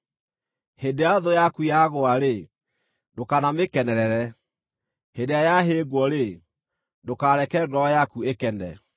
Hĩndĩ ĩrĩa thũ yaku yagũa-rĩ, ndũkanamĩkenerere; hĩndĩ ĩrĩa yahĩngwo-rĩ, ndũkareke ngoro yaku ĩkene,